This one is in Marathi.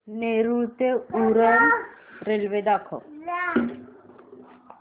नेरूळ ते उरण रेल्वे दाखव